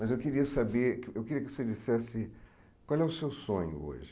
Mas eu queria saber eu queria que você dissesse qual é o seu sonho hoje?